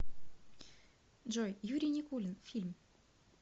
джой юрий никулин фильм